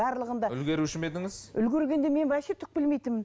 барлығында үлгеруші ме едіңіз үлгергенде мен вообще түк білмейтінмін